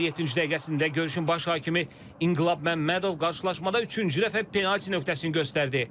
Oyunun 57-ci dəqiqəsində görüşün baş hakimi İnqilab Məmmədov qarşılaşmada üçüncü dəfə penalti nöqtəsini göstərdi.